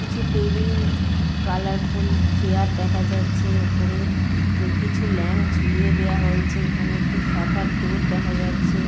কিছু table colourful chair দেখা যাচ্ছে। ওপরে কিছু ল্যাম্প ঝুলিয়ে দেওয়া হয়েছে। এখানে একটি শাটার ডোর দেখা যাচ্ছে।